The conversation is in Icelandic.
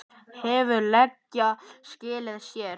Hefur leiga skilað sér?